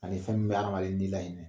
Ani fɛn bɛ hadamaden ni lahinɛ